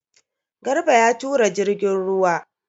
Garba ya tura jirgin ruwa.